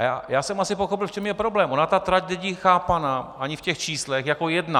A já jsem asi pochopil, v čem je problém - ona ta trať není chápaná ani v těch číslech jako jedna.